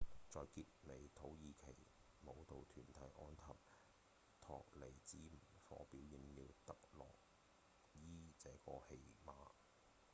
在結尾土耳其舞蹈團體「安納托利亞之火」表演了「特洛伊」這個戲碼